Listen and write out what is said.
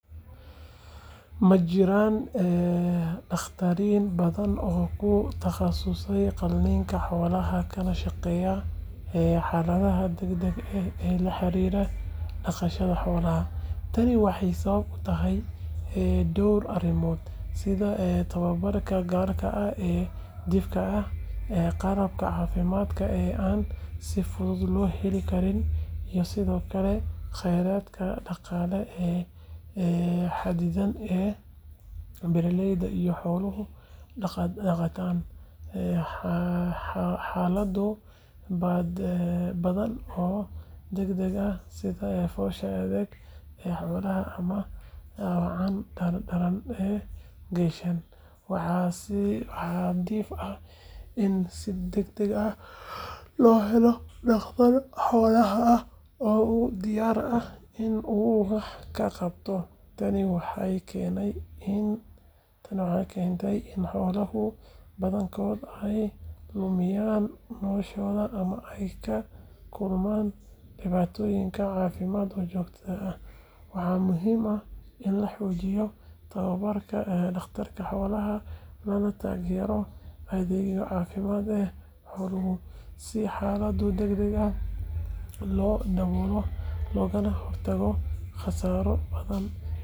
Ma jiraan dhakhaatiir badan oo ku takhasusay qaliinka xoolaha kana shaqeeya xaaladaha degdega ah ee la xiriira dhaqashada xoolaha. Tani waxay sabab u tahay dhowr arrimood, sida tababarka gaarka ah ee dhifka ah, qalabka caafimaadka ee aan si fudud loo heli karin, iyo sidoo kale kheyraadka dhaqaale ee xadidan ee beeraleyda iyo xoolo-dhaqatada. Xaalado badan oo degdeg ah sida foosha adag ee lo’da ama dhaawacyada daran ee geelasha, waxaa dhif ah in si degdeg ah loo helo dhakhtar xoolaha ah oo u diyaar ah in uu wax ka qabto. Tani waxay keenaysaa in xoolaha badankood ay lumiyaan noloshooda ama ay la kulmaan dhibaatooyin caafimaad oo joogto ah. Waxaa muhiim ah in la xoojiyo tababarka dhakhaatiirta xoolaha, lana taageero adeegyada caafimaad ee xoolaha si xaaladaha degdega ah loo daboolo loogana hortago khasaaro dhaqaale iyo mid naf leh oo ku yimaada bulshada xoolo-dhaqatada ah.